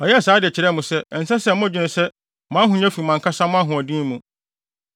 Ɔyɛɛ saa de kyerɛɛ mo sɛ, ɛnsɛ sɛ modwene sɛ mo ahonya no fi mo ankasa mo ahoɔden mu.